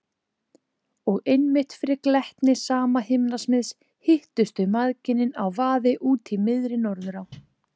Og einmitt fyrir glettni sama himnasmiðs hittust þau mæðginin á vaði úti í miðri Norðurá.